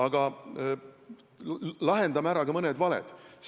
Aga lahendame ära ka mõned valed.